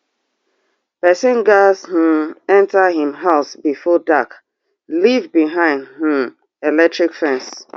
pesin gass um enter im house before dark live behind um electric fence